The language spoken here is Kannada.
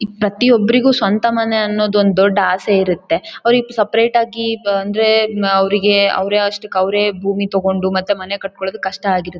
ಪ್ರತಿಯೊಬ್ಬರಿಗೂ ಸ್ವಂತ ಮನೆ ಅನ್ನೋದ್ ದೊಡ್ಡ್ ಅಸೆ ಇರುತ್ತೆ. ಅವ್ರಿಗೆ ಸಪರೇಟ್ ಆಗಿ ಅಂದ್ರೆ ಅವ್ರಿಗೆ ಅವ್ರಷ್ಟಕ್ಕೆ ಭೂಮಿ ತಕೊಂಡು ಮತ್ತೆ ಮನೆ ಕಟ್ಟೋಕೆ ಕಷ್ಟ ಆಗಿರು--